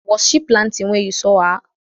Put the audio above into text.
Was she planting when you saw her?